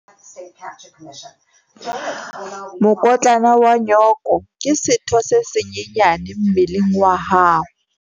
Mokotlana wa nyooko ke setho se senyenyane mmeleng wa hao.